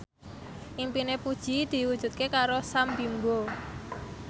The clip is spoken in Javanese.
impine Puji diwujudke karo Sam Bimbo